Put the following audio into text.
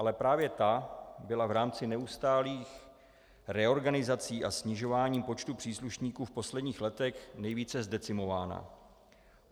Ale právě ta byla v rámci neustálých reorganizací a snižování počtu příslušníků v posledních letech nejvíce zdecimována.